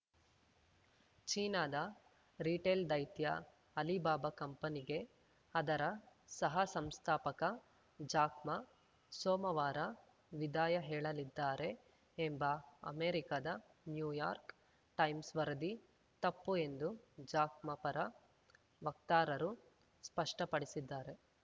ಚೀನಾದ ರಿಟೇಲ್‌ ದೈತ್ಯ ಅಲಿಬಾಬಾ ಕಂಪನಿಗೆ ಅದರ ಸಹಸಂಸ್ಥಾಪಕ ಜಾಕ್‌ ಮಾ ಸೋಮವಾರ ವಿದಾಯ ಹೇಳಲಿದ್ದಾರೆ ಎಂಬ ಅಮೆರಿಕದ ನ್ಯೂಯಾರ್ಕ್ ಟೈಮ್ಸ್‌ ವರದಿ ತಪ್ಪು ಎಂದು ಜಾಕ್‌ ಮಾ ಪರ ವಕ್ತಾರರು ಸ್ಪಷ್ಟಪಡಿಸಿದ್ದಾರೆ